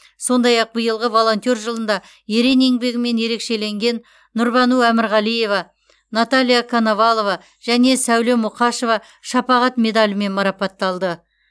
сондай ақ биылғы волонтер жылында ерен еңбегімен ерекшеленген нұрбану әмірғалиева наталья коновалова және сәуле мұқашева шапағат медалімен марапатталды